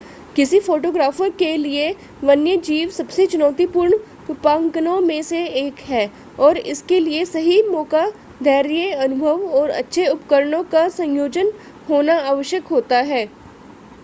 किसी फोटोग्राफर के लिए वन्यजीव सबसे चुनौतीपूर्ण रूपांकनों में से एक है और इसके लिए सही मौका धैर्य अनुभव और अच्छे उपकरणों का संयोजन होना आवश्यक होता है